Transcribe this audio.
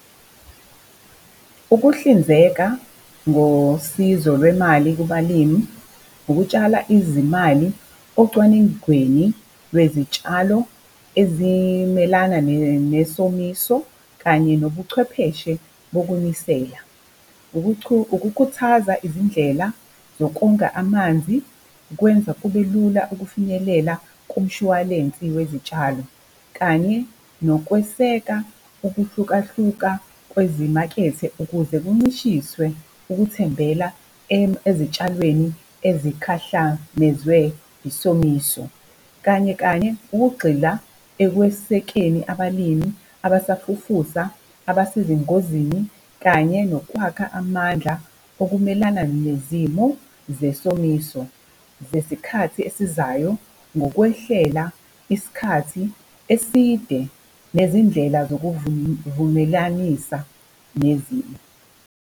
Ukuhlinzeka ngosizo lwemali kubalimi ngokutshala izimali ocwaningweni lwezitshalo ezimelana nesomiso, kanye nobuchwepheshe bokunisela. Ukukhuthaza izindlela zokonga amanzi, kwenza kubelula ukufinyelela kumshwalensi wezitshalo kanye nokweseka ukuhlukahluka kwezimakethe ukuze kuncishiswe ukuthembela ezitshalweni ezikhahlamezwe isomiso. Kanye kanye ukugxila ekwesekeni abalimi abasafufusa, abesengozini kanye nokwakha amandla okumelana nezimo zesomiso zesikhathi esizayo ngokwehlela isikhathi eside nezindlela zokuvumelanisa nezimo.